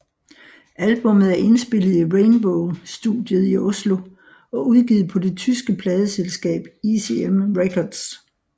Albummet er indspillet i Rainbow Studiet i Oslo og udgivet på det tyske pladeselskab ECM Records